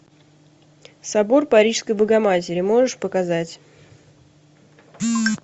собор парижской богоматери можешь показать